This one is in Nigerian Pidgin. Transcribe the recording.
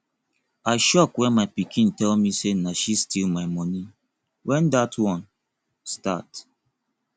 i shock wen my pikin tell me say na she steal my money wen dat one start